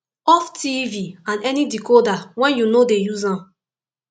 off tv and any decoder wen yu no dey use am